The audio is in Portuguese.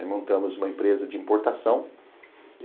Aí montamos uma empresa de importação.